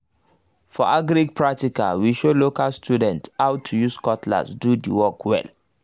for agric um practical we show local students how to use cutlass do the work well